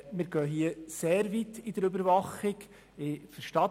Wir gehen bei der Überwachung sehr weit.